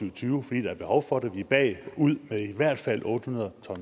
og tyve fordi der er behov for det vi er bagud med i hvert fald otte hundrede